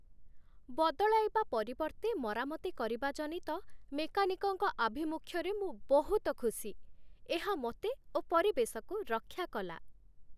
ବଦଳାଇବା ପରିବର୍ତ୍ତେ ମରାମତି କରିବା ଜନିତ ମେକାନିକ୍‌ଙ୍କ ଆଭିମୁଖ୍ୟରେ ମୁଁ ବହୁତ ଖୁସି। ଏହା ମୋତେ ଓ ପରିବେଶକୁ ରକ୍ଷା କଲା।